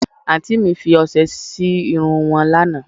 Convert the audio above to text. Àǹtí mi fi ọsẹ sí irun wọn lánàá